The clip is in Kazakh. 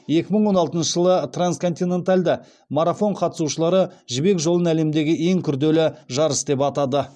екі мың он алтыншы жылы трансконтиненталды марафон қатысушылары жібек жолын әлемдегі ең күрделі жарыс деп атады